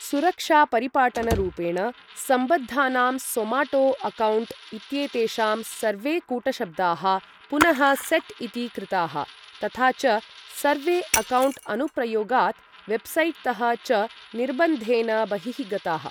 सुरक्षापरिपाटनरूपेण, सम्बद्धानां Zomato account इत्येतेषां सर्वे कूटशब्दाः पुनः सेट् इति कृताः, तथा च सर्वे अक्कौण्ट् अनुप्रयोगात् वेब्सैट्तः च निर्बन्धेन बहिः गताः।